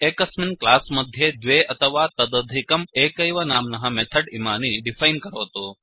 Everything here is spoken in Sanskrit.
एकस्मिन् क्लास् मध्ये द्वे अथवा तदधिकं एकैव नाम्नः मेथड् इमानि डिफैन् करोतु